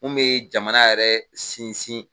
Mun be jamana yɛrɛ sinsin